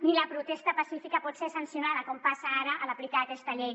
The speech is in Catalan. ni la protesta pacífica pot ser sancionada com passa ara a l’aplicar aquesta llei